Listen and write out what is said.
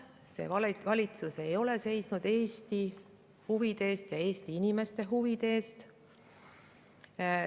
See valitsus ei ole seisnud Eesti huvide eest ja Eesti inimeste huvide eest.